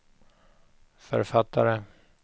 författare